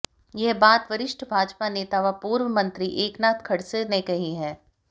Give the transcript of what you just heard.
यह बात वरिष्ठ भाजपा नेता व पूर्व मंत्री एकनाथ खड़से ने कही है